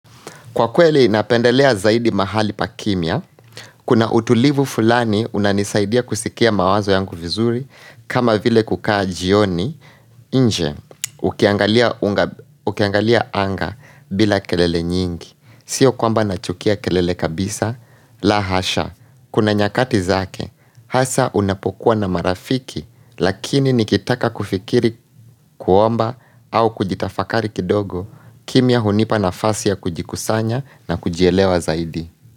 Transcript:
Kwa kweli napendelea zaidi mahali pakimya, kuna utulivu fulani unanisaidia kusikia mawazo yangu vizuri, kama vile kukaa jioni, nje, ukiangalia anga bila kelele nyingi, sio kwamba nachukia kelele kabisa, la hasha, kuna nyakati zake, hasa unapokuwa na marafiki, Lakini nikitaka kufikiri kuomba au kujitafakari kidogo kimya hunipa nafasi ya kujikusanya na kujielewa zaidi.